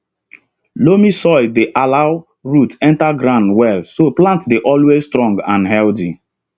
loamy soil dey allow root enter ground well so plant dey always strong and healthy